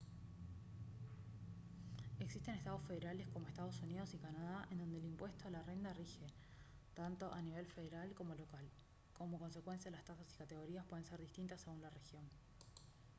existen estados federales como estados unidos y canadá en donde el impuesto a la renta rige tanto a nivel federal como local como consecuencia las tasas y categorías pueden ser distintas según la región